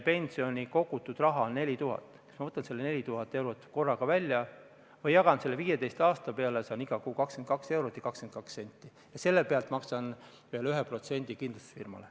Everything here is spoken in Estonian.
Ma saan otsustada, kas ma võtan selle 4000 eurot korraga välja või jagan selle 15 aasta peale, saan iga kuu 22 eurot ja 22 senti ja selle pealt maksan veel 1% kindlustusfirmale.